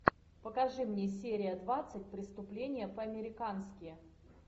покажи мне серия двадцать преступление по американски